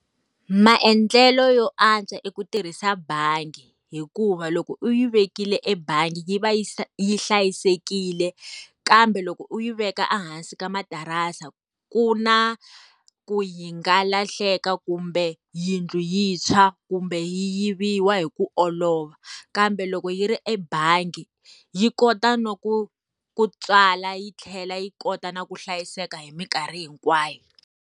Maendlelo yo antswa i ku tirhisa bangi. Hikuva loko u yi vekile ebangi yi va yi hlayisekile, kambe loko u yi veka ehansi ka materase, ku na ku yi nga lahleka kumbe yindlu yi tshwa kumbe yiviwa hi ku olova. Kambe loko yi ri ebangi, yi kota na ku ku tswala yi tlhela yi kota na ku hlayiseka hi minkarhi hinkwayo.